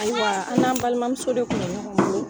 Ayiwa an n'an balimamuso de kun bɛ ɲɔgɔn bolo.